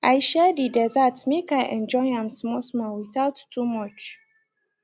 i share the dessert make i enjoy am smallsmall without too much